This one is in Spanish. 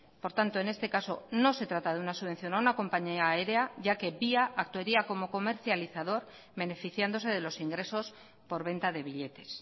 por tanto en este caso no se trata de una subvención a una compañía aérea ya que via actuaría como comercializador beneficiándose de los ingresos por venta de billetes